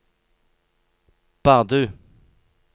Bardu